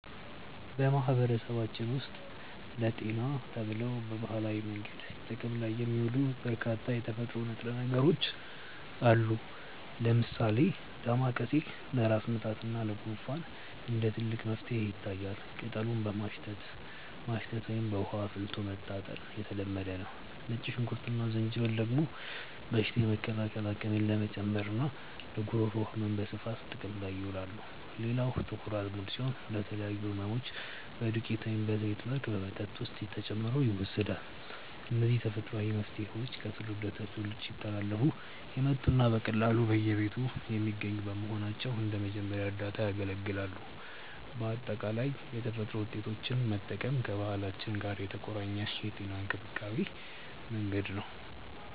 በማህበረሰባችን ውስጥ ለጤና ተብለው በባህላዊ መንገድ ጥቅም ላይ የሚውሉ በርካታ የተፈጥሮ ንጥረ ነገሮች አሉ። ለምሳሌ ዳማከሴ ለራስ ምታት እና ለጉንፋን እንደ ትልቅ መፍትሄ ይታያል፤ ቅጠሉን በማሸት ማሽተት ወይም በውሃ አፍልቶ መታጠን የተለመደ ነው። ነጭ ሽንኩርት እና ዝንጅብል ደግሞ በሽታ የመከላከል አቅምን ለመጨመርና ለጉሮሮ ህመም በስፋት ጥቅም ላይ ይውላሉ። ሌላው ጥቁር አዝሙድ ሲሆን፣ ለተለያዩ ህመሞች በዱቄት ወይም በዘይት መልክ በመጠጥ ውስጥ ተጨምሮ ይወሰዳል። እነዚህ ተፈጥሯዊ መፍትሄዎች ከትውልድ ወደ ትውልድ ሲተላለፉ የመጡና በቀላሉ በየቤቱ የሚገኙ በመሆናቸው እንደ መጀመሪያ እርዳታ ያገለግላሉ። በአጠቃላይ የተፈጥሮ ውጤቶችን መጠቀም ከባህላችን ጋር የተቆራኘ የጤና እንክብካቤ መንገድ ነው።